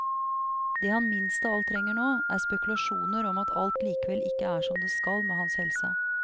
Det han minst av alt trenger nå, er spekulasjoner om at alt likevel ikke er som det skal med hans helse.